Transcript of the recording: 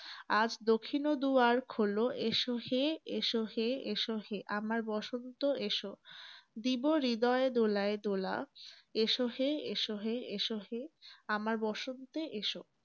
আজ দখিনও দুয়ার খোলো এসো হে এসো হে এসো হে আমার বসন্ত এসো। দিবো হৃদয়ে দোলায় দোলা এসো হে এসো হে এসো হে । আমার বসন্তে এসো।